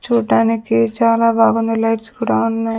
చూడటానికి చాలా బాగుంది లైట్స్ కూడా ఉన్నాయి.